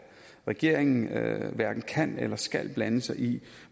regeringen hverken kan eller skal blande sig i